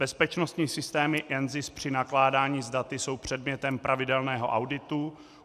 Bezpečnostní systémy NZIS při nakládání s daty jsou předmětem pravidelného auditu.